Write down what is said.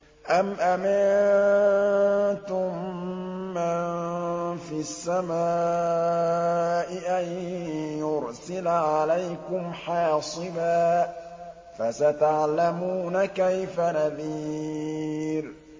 أَمْ أَمِنتُم مَّن فِي السَّمَاءِ أَن يُرْسِلَ عَلَيْكُمْ حَاصِبًا ۖ فَسَتَعْلَمُونَ كَيْفَ نَذِيرِ